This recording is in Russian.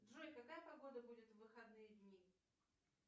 джой какая погода будет в выходные дни